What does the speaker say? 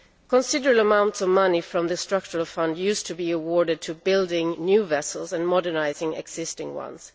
Considerable amounts of money from the Structural Funds used to be awarded to building new vessels and modernising existing ones.